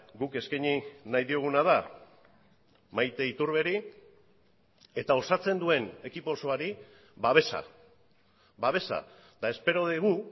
guk eskaini nahi dioguna da maite iturberi eta osatzen duen ekipo osoari babesa babesa eta espero dugu